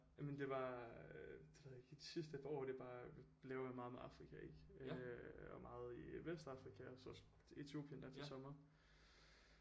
Jamen det var øh det ved jeg ikke i de sidste par år det er bare blevet meget med Afrika ik øh og meget i Vestafrika og så Etiopien her til sommer